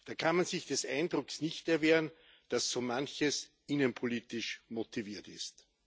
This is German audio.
Da kann man sich des Eindrucks nicht erwehren, dass so manches innenpolitisch motiviert ist.